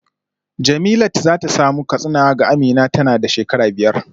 Jemilat za ta samu katsina ga Amina tana da shekara biyar